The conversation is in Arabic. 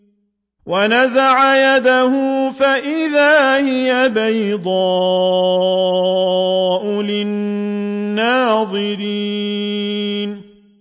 وَنَزَعَ يَدَهُ فَإِذَا هِيَ بَيْضَاءُ لِلنَّاظِرِينَ